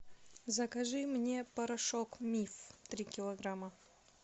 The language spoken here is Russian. закажи мне порошок миф три килограмма